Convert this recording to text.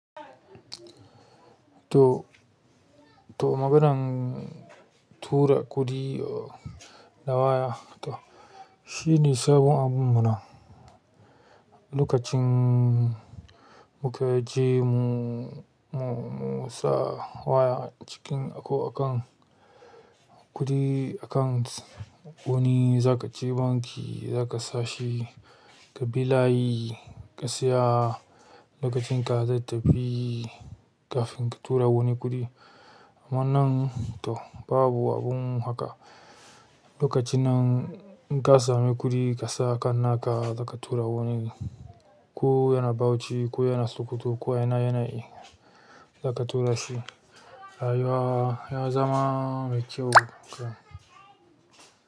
To, to maganan tura kuɗi a waya to shine sabon abunmu nan. Lokacin muka jemu, mu, musa waya cikin ako akan kuɗi akan wani zakaje banki zaka sashi kabi layi ka tsaya lokacinka zai tafi kafin katura wani kuɗi. Amma nan to babu abun haka. Lokaci nan in ka sami kuɗi kasa akan naka za katura wani, ko yana Bauchi ko yana Sokoto ko yana yana yana, zaka turashi. Rayuwa yazama mai kyau ga.